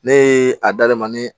Ne ye a dadamunɛ